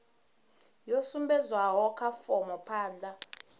yo sumbedzwaho kha fomo phanda